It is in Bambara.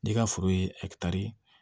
N'i ka foro ye ɛkitari